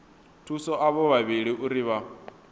thusa avho vhavhili uri vha